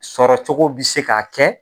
Sɔrɔcogo bi se k'a kɛ